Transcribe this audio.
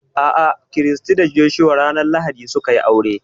A'a, Christy da Joshua ranar lahadi su ka yi aure